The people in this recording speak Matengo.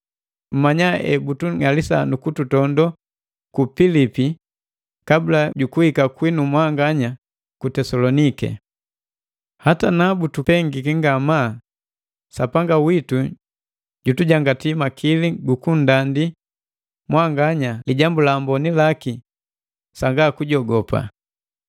Mmanya hebutung'alisa nukututondo ku Pilipi kabula jukuhika kwinu ji ku Tesaloniki. Hata na butupengiki ngama, Sapanga witu jutujangati makili gu kunndandi mwanganya Lijambu la Amboni laki sanga kujogopa.